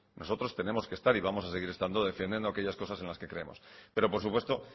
nosotros tenemos que estar y vamos a seguir estando defendiendo aquellas cosas en las que creemos pero por supuesto